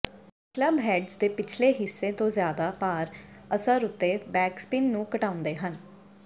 clubheads ਦੇ ਪਿਛਲੇ ਹਿੱਸੇ ਤੋਂ ਜਿਆਦਾ ਭਾਰ ਅਸਰ ਉੱਤੇ ਬੈਕਸਪਿਨ ਨੂੰ ਘਟਾਉਂਦੇ ਹਨ